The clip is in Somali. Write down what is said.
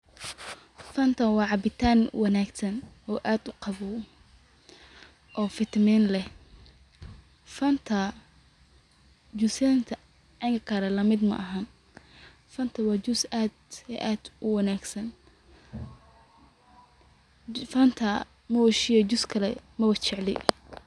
Fanta waa cabitaan wanagsan oo aad uqawow oo vitamin leh fanta, jusinta kale lamid maaxan fanta waa juice aad iyo aad uwanagsan.[c]Fanta Moishe, juice kale mabacabo.